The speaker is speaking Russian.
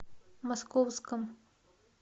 московском